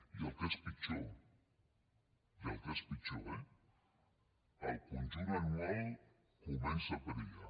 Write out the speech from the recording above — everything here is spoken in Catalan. i el que és pitjor i el que és pitjor eh el conjunt anual comença a perillar